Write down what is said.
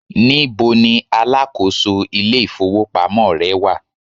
níbo ní alákóso ilé ifowópamọ́ rẹ wà